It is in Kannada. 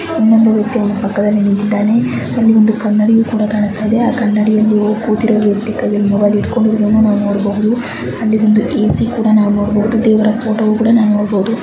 ಒಬ್ಬ ಪಕ್ಕದಲ್ಲಿ ನಿಂತಿದ್ದಾನೆ ಅಲ್ಲಿ ಒಂದು ಕನ್ನಡಿ ಕಾನಾಸ್ತಾ ಇದೆ ಆ ಕನ್ನಡಿಯಲ್ಲಿ ಕೂತಿರೋ ವ್ಯಕ್ತಿ ಮೊಬೈಲ್ಇಟ್ಟುಕೊಂಡಿರೋದನ್ನ ನೋಡಬೋದು ಅಲ್ಲಿ ಒಂದು ಎ ಸಿ ಕೂಡ ನೋಡಬಹುದು ಹಾಗೆ ದೇವರ ಫೋಟೋ ಕೂಡ ನೋಡಬಹುದು.